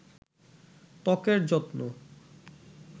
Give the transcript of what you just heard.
ত্বকের যত্ন